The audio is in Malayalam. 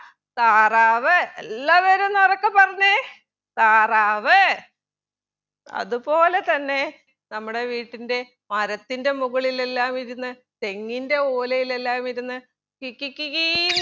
താറാവ് എല്ലാവരും ഒന്നുറക്കെ പറഞ്ഞെ താറാവ് അത് പോലെ തന്നെ നമ്മുടെ വീട്ടിൻ്റെ മരത്തിൻ്റെ മുകളിലെല്ലാം ഇരുന്ന് തെങ്ങിൻ്റെ ഒലയിലെല്ലാം ഇരുന്ന് കി കി കി കീന്ന്